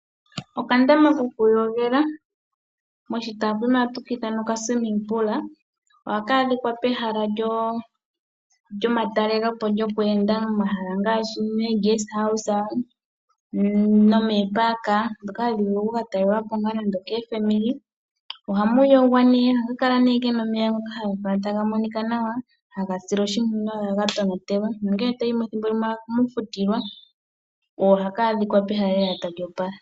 Okandama ko ku yogela, ohaka adhikwa pehala lyomatalele po ,lyokweenda momahala ngaashi meeguest house nomeeparka, dhoka hadhi vulu oku ka talelwa po nando keefamili. Ohamu yogwa nee . Ohaka kala muna omeya taga monika nawa, haga silwa oshimpwiyu, no ha ga tonatelwa nongele to yi mo ethimbo limwe oha mu futilwa . Ohaka adhika pehala lela tali opala.